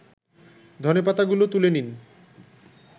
ধনেপাতাগুলো তুলে নিন